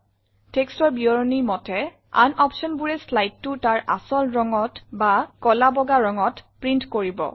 Textৰ বিৱৰণী মতে আন optionবোৰে slideটো তাৰ আচল ৰঙত বা কলা বগা ৰঙত প্ৰিণ্ট কৰিব